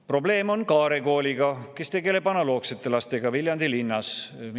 Probleem on Kaare Kooliga, mis tegeleb analoogsete lastega Viljandi linnas.